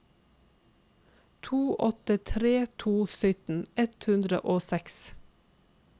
to åtte tre to sytten ett hundre og seks